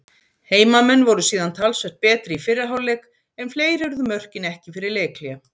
Heimamenn voru síðan talsvert betri í fyrri hálfleik en fleiri urðu mörkin ekki fyrir leikhlé.